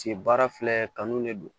baara filɛ kanu de don